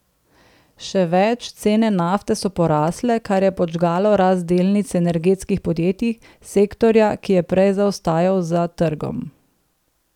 Še več, cene nafte so porasle, kar je podžgalo rast delnic energetskih podjetij, sektorja, ki je prej zaostajal za trgom.